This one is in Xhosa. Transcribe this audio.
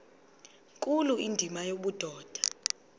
nkulu indima yobudoda